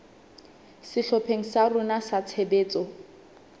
sehlopheng sa rona sa tshebetso